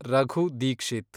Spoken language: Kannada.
ರಘು ದೀಕ್ಷಿತ್